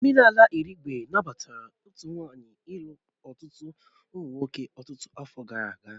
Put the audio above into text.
Omenala Irigwe nabatara otu nwanyị ịlu ọtụtụ ụmụ nwoke ọtụtụ afọ gara aga.